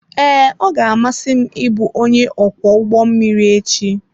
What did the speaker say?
Ee, ọ ga-amasị m ịbụ onye ọkwọ ụgbọ mmiri echi.